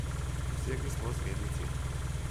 Dosegli smo osrednji cilj.